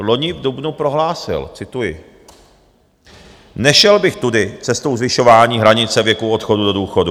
cz loni v dubnu prohlásil - cituji: "Nešel bych tudy, cestou zvyšování hranice věku odchodu do důchodu.